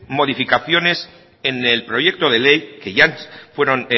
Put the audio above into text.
modificaciones en el proyecto de ley que ya fueron